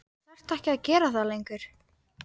Þú þarft ekki að gera það lengur.